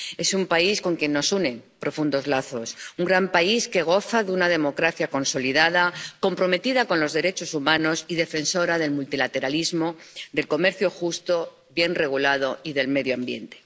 es un país con quien nos unen profundos lazos, un gran país que goza de una democracia consolidada, comprometida con los derechos humanos y defensora del multilateralismo, del comercio justo bien regulado y del medio ambiente.